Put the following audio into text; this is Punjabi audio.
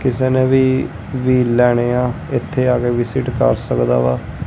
ਕਿਸੇਨੇ ਵੀ ਵ੍ਹੀਲ ਲੈਣੇ ਆ ਏੱਥੇ ਆਕੇ ਵਿਸਿਟ ਕਰ ਸਕਦਾ ਵਾ।